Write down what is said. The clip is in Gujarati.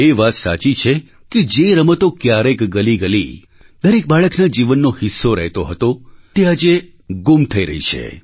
એ વાત સાચી છે કે જે રમતો ક્યારેક ગલીગલી દરેક બાળકના જીવનનો હિસ્સો રહેતો હતો તે આજે ગૂમ થઈ રહી છે